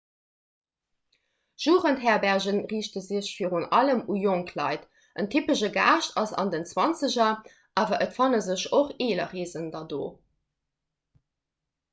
jugendherberge riichte sech virun allem u jonk leit en typesche gaascht ass an den zwanzeger awer et fanne sech och eeler reesender do